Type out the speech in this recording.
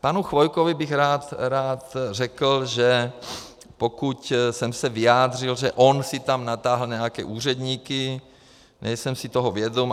Panu Chvojkovi bych rád řekl, že pokud jsem se vyjádřil, že on si tam natahal nějaké úředníky, nejsem si toho vědom.